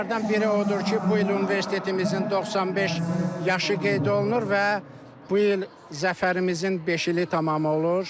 Onlardan biri odur ki, bu il universitetimizin 95 yaşı qeyd olunur və bu il zəfərimizin beş ili tamam olur.